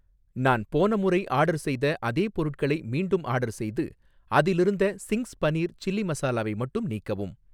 நான் போன முறை ஆர்டர் செய்த அதே பொருட்களை மீண்டும் ஆர்டர் செய்து, அதிலிருந்த சிங்க்ஸ் பனீர் சில்லி மசாலாவை மட்டும் நீக்கவும்